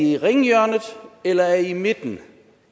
i i ringhjørnet eller er i i midten